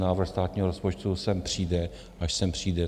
Návrh státního rozpočtu sem přijde, až sem přijde.